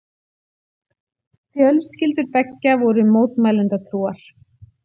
Fjölskyldur beggja voru mótmælendatrúar.